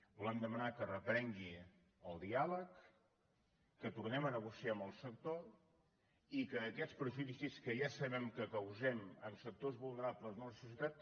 volem demanar que reprengui el diàleg que tornem a negociar amb el sector i que aquests perjudicis que ja sabem que causem en sectors vulnerables de la societat